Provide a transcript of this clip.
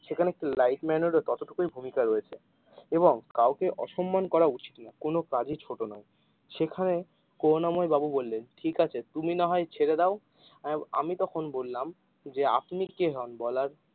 সেখানে একটি light man এর ও ততটুকুই ভূমিকা রয়েছে এবং কাউকে অসম্মান করা উচিত নয় কোনো কাজ এ ছোট নয়, সেখানে করুনা ময় বাবু বললেন ঠিক আছে তুমি না হয় ছেড়ে দাও, আহ আমি তখন বললাম আপনি কে হন বলার।